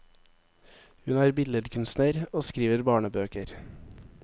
Hun er billedkunstner og skriver barnebøker.